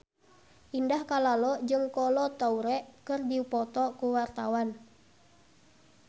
Indah Kalalo jeung Kolo Taure keur dipoto ku wartawan